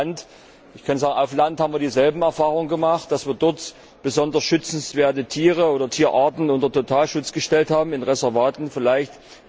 An Land haben wir dieselben Erfahrungen gemacht, dass wir dort besonders schützenswerte Tiere oder Tierarten unter Totalschutz gestellt haben, in Reservaten vielleicht.